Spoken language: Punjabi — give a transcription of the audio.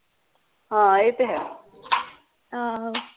ਹਾਂ ਇਹ ਤੇ ਹੈ